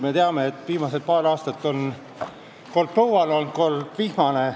Me teame, et viimased paar aastat on olnud kord põuane, kord vihmane.